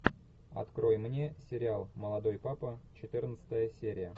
открой мне сериал молодой папа четырнадцатая серия